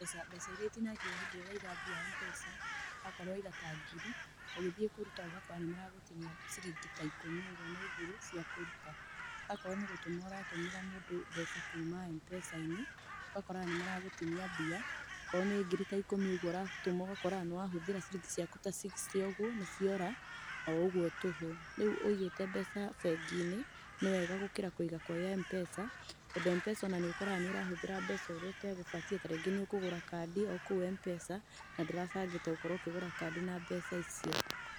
Mbeca mbeca iria itinagio hĩndĩ ĩrĩa ũraiga mbia Mpesa , akorwo waiga ta ngiri, ũgĩthiĩ kũruta ũgakora nĩmaragũtinia ciringi ta ikũmi ũguo na igĩrĩ cia kũruta. Akorwo nĩ gũtũma ũratũmĩra mũndũ mbeca kuuma Mpesa -inĩ ũgakoraga nĩmaragũtinia mbia, okorwo nĩ ngiri ta ikũmi ũguo ũgakoraga nĩwahũthĩra ciringi ciaku ta sixty ũguo nĩciora o ũguo tũhũ. Rĩu ũigite mbeca bengi-inĩ nĩ wega gũkĩra kũiga kwĩ M-Pesa, tondũ Mpesa nĩũkoraga nĩũrahũthĩra mbeca ũrĩa utegũbatiĩ ta rĩngĩ nĩũkũgũra kandi o kũu Mpesa na ndũrabangĩte gũkorwo ũkĩgũra kandi na mbeca icio.